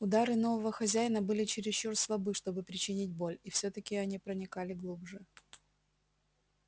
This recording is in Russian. удары нового хозяина были чересчур слабы чтобы причинить боль и всё таки они проникали глубже